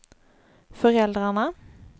föräldrarna